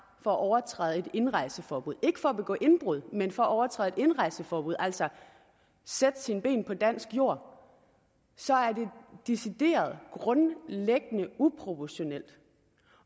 for at overtræde et indrejseforbud ikke for at begå indbrud men for at overtræde et indrejseforbud altså at sætte sine ben på dansk jord så er det decideret grundlæggende uproportionalt